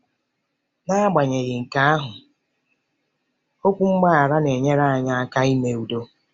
N'agbanyeghị nke ahụ, okwu mgbaghara na-enyere anyị aka ime udo.